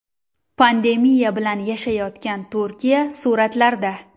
Pandemiya bilan yashayotgan Turkiya suratlarda.